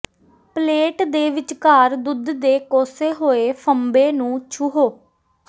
plate ਦੇ ਵਿਚਕਾਰ ਦੁੱਧ ਦੇ ਕੋਸੇ ਹੋਏ ਫੰਬੇ ਨੂੰ ਛੂਹੋ